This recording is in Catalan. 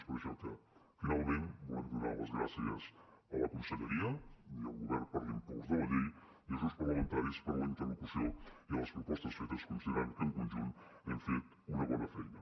és per això que finalment volem donar les gràcies a la conselleria i al govern per l’impuls de la llei i als grups parlamentaris per la interlocució i les propostes fetes ja que considerem que en conjunt hem fet una bona feina